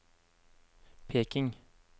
Peking